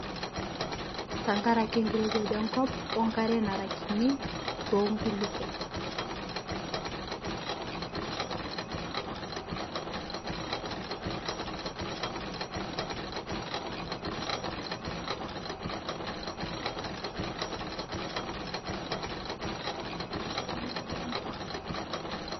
tankarake nkirewaj enkop onkare nara kinii tenkulipoo